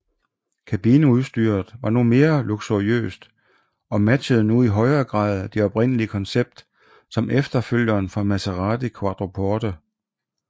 Kabineudstyret var nu mere luksuriøst og matchede nu i højere grad det oprindelige koncept som efterfølger for Maserati Quattroporte